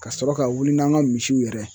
Ka sɔrɔ ka wili n'an ka misiw yɛrɛ ye